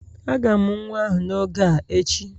A ga-amụ nwa ahụ n'oge a echi